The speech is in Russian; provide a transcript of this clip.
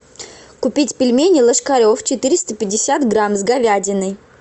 купить пельмени ложкарев четыреста пятьдесят грамм с говядиной